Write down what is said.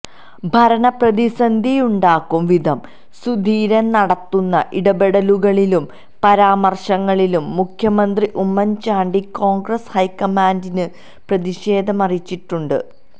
ഭരണപ്രതിസന്ധിയുണ്ടാക്കും വിധം സുധീരൻ നടത്തുന്ന ഇടപെടലുകളിലും പരാമർശങ്ങളിലും മുഖ്യമന്ത്രി ഉമ്മൻ ചാണ്ടി കോൺഗ്രസ് ഹൈക്കമാൻഡിന് പ്രതിഷേധമറിയിച്ചിട്ടുണ്ട്